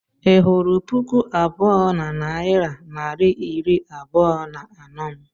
Ị hụrụ puku abụọ na narị naira iri abụọ na anọ m?